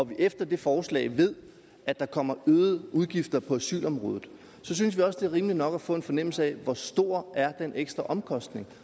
vi efter det forslag ved at der kommer øgede udgifter på asylområdet synes vi også det er rimeligt nok at få en fornemmelse af hvor stor den ekstra omkostning